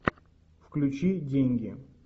включи деньги